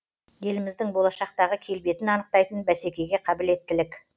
еліміздің болашақтағы келбетін анықтайтын бәсекеге қабілеттілік